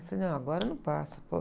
Falei, não, agora não passa, pô.